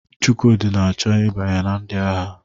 Chukwudi na-achọ ịbanye na ndị agha.